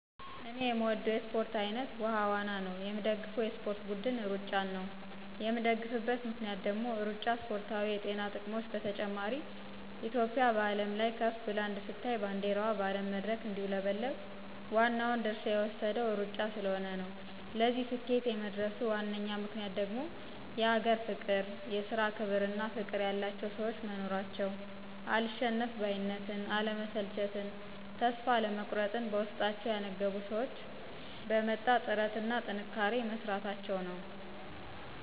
እኔ የምወደው የእስፖርት አይነት ዉሀ ዋና ነው። የምደግፈው የእስፖርት ብድን እሩጫን ነው የምደግፍበት ምክንያት ደግሞ እሩጫ እስፖርታዊ የጤና ጥቅሞች በተጨማሪ እትዮጵያ በአለም ላይ ከፍ ብላ እንድትታይ ባንዲረዋ በአለም መድረክ እንዲውለበለብ ዋናውን ድርሻ የወሰደው እሩጫ ስለሆነ ነው። ለዚህ ስኬት የመድረሱ ዋነኛ ምክንያት ደግሞ የሀገር ፍቅር፣ የስራ ክብር እና ፍቅር ያላቸው ሰዎች መኖራቸው፣ አልሸነፍ ባይነትን፣ አለመሰልቸትን ተስፋ አለመቁረጥን በውስጣቸው ያነገቡ ሰዎች በመጣ ጥረት እና በጥንካሬ መስራታቸው ነው።